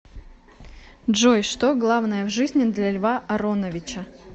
джой что главное в жизни для льва ароновича